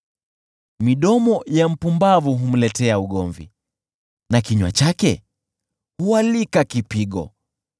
Midomo ya mpumbavu humletea ugomvi na kinywa chake hualika kipigo.